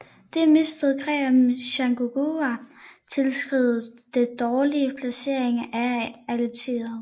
Det mistede greb om Chattanooga tilskrives dels dårlig placering af artilleriet